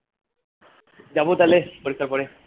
যাবো তাহলে পরীক্ষার পরে